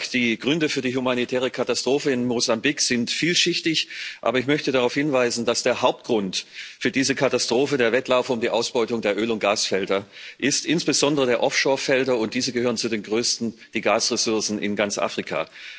Die Gründe für die humanitäre Katastrophe in Mosambik sind vielschichtig, aber ich möchte darauf hinweisen, dass der Hauptgrund für diese Katastrophe der Wettlauf um die Ausbeutung der Öl und Gasfelder ist, insbesondere der Offshore Felder, und diese gehören zu den größten Gasressourcen in ganz Afrika.